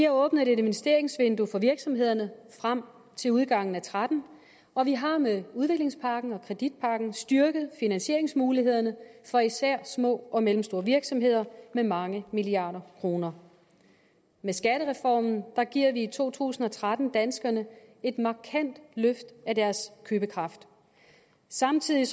åbnet et investeringsvindue for virksomhederne frem til udgangen af og tretten og vi har med udviklingspakken og kreditpakken styrket finansieringsmulighederne for især små og mellemstore virksomheder med mange milliarder kroner med skattereformen giver vi i to tusind og tretten danskerne et markant løft af deres købekraft samtidig